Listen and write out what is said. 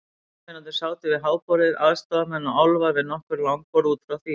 Jólasveinarnir sátu við háborðið, aðstoðarmenn og álfar við nokkur langborð út frá því.